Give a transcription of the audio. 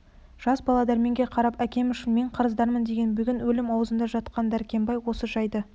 жас бала дәрменге қарап әкем үшін мен қарыздармын деген бүгін өлім аузында жатқан дәркембай осы жайды